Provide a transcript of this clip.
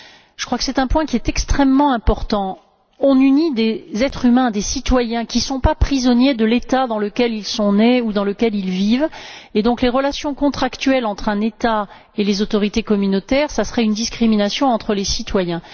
Je crois que c'est un point qui est extrêmement important. On unit des êtres humains, des citoyens, qui ne sont pas prisonniers de l'État dans lequel ils sont nés ou dans lequel ils vivent, et établir des relations contractuelles entre un État et les autorités communautaires, ce serait opérer une discrimination entre les citoyens.